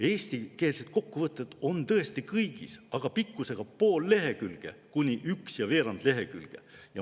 Eestikeelne kokkuvõte on tõesti kõigis, aga pikkusega pool kuni üks ja veerand lehekülge.